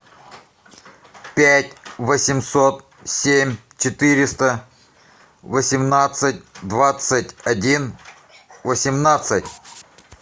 пять восемьсот семь четыреста восемнадцать двадцать один восемнадцать